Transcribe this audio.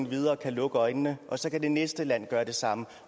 videre og kan lukke øjnene og så kan det næste land gøre det samme